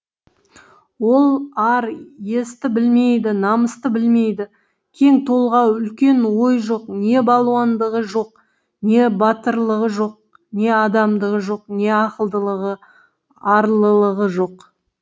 ол ар есті білмейді намысты білмейді кең толғау үлкен ой жоқ не балуандығы жоқ не батырлығы жоқ не адамдығы жоқ не ақылдылығы арлылығы жоқ